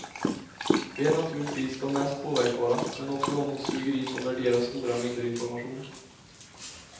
Vi är naturligtvis de mest påverkbara, men också de som suger in och värderar stora mängder information.